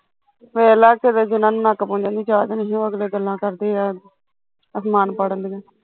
ਵੇਖਲਾ ਕਿਤੇ ਜਿਨਾ ਨੂੰ ਨੱਕ ਪੂਜਣ ਦੀ ਜਾਂਚ ਨੀ ਸੀ ਓਹ ਅਗਲੇ ਗੱਲਾ ਕਰਦੇ ਆ ਅਸਮਾਨ ਪਾੜਨ ਦੀਆ